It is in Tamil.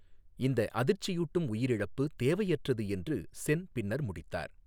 இந்த அதிர்ச்சியூட்டும் உயிர் இழப்பு தேவையற்றது என்று சென் பின்னர் முடித்தார்.